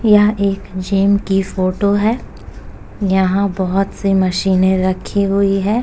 यह एक जिम की फोटो है यहाँ बोहोत- सी मशीनें रखी हुई हैं।